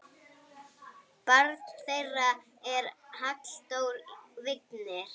Barn þeirra er Halldór Vignir.